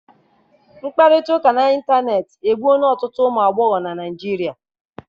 Mkpakọrịta n'ịntanetị egbuola ọtụtụ ụmụ agbọghọ na Nigeria.